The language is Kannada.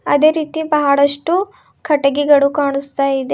ಅದೇ ರೀತಿ ಬಹಳಷ್ಟು ಕಟ್ಟಿಗೆಗಳು ಕಾಣುಸ್ತಾ ಇದೆ.